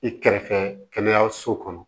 I kɛrɛfɛ kɛnɛyaso kɔnɔ